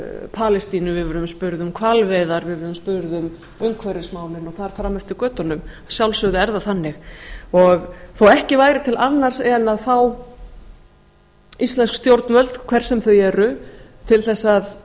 palestínu við verðum spurð um hvalveiðar við verðum spurð um umhverfismálin og þar fram eftir götunum að sjálfsögðu er það þannig þó ekki væri til annars en að fá íslensk stjórnvöld hver sem þau eru til þess að